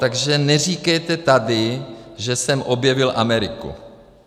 Takže neříkejte tady, že jsem objevil Ameriku.